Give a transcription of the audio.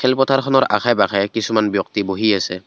খেল পথাৰ খনৰ আশে-পাশে কিছুমান ব্যক্তি বহি আছে।